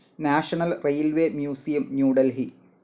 national railways museum, New Delhi